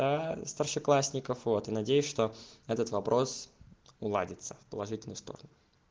старшеклассников вот и надеюсь что этот вопрос ладится положительную сторону